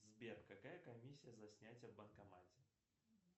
сбер какая комиссия за снятие в банкомате